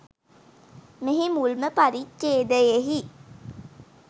මෙහි මුල්ම පරිච්ඡේදයෙහි